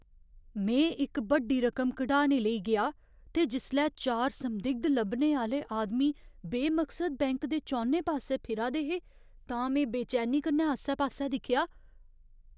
में इक बड्डी रकम कढाने लेई गेआ ते जिसलै चार संदिग्ध लब्भने आह्‌ले आदमी बेमकसद बैंक दे चौनें पासै फिरा दे हे तां में बेचैनी कन्नै आसे पासेआ दिक्खेआ।